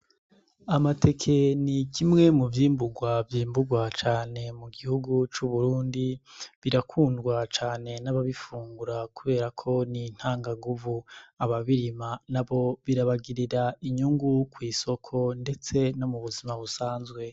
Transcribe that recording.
Amateke ni kimwe mu vyimburwa vyimburwa cane mu gihugu c'uburundi birakundwa cane n'ababifungura kuberako n'intangaguvu ababirima na bo birabagirira inyungu kw'isoko, ndetse no mu buzima busanzwe.